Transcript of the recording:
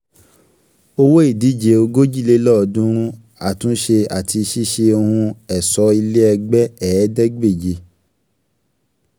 owó ìdíje ogòjìlélọ́ọ̀dúnrún àtúnṣe àti ṣíṣe ohun ẹ̀ṣọ́ ilé ẹgbẹ́ ẹ̀ẹ́dẹ́gbèje.